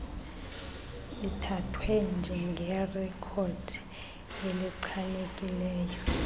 ithathwe njengerekhodi elichanekileyo